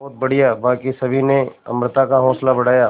बहुत बढ़िया बाकी सभी ने अमृता का हौसला बढ़ाया